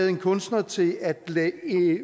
en kunstner til at